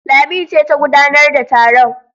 Lami ce ta gudanar da taron.